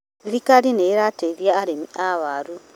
Thirikari nĩ ĩrateithia arĩmi a waru.